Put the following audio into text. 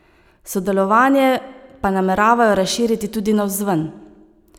Sodelovanje pa nameravajo razširiti tudi navzven.